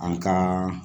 An ka